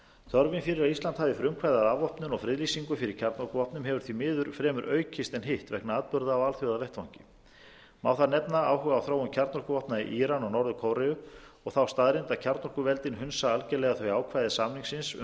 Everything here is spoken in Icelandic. þörfin fyrir að ísland hafi frumkvæði og afvopnun og friðlýsingu fyrir kjarnorkuvopnum hefur því miður fremur aukist en hitt vegna atburða á alþjóðavettvangi má þar nefna áhuga á þróun kjarnorkuvopna í íran og norður kóreu og þá staðreynd að kjarnorkuveldin hunsa algerlega þau ákvæði samningsins um bann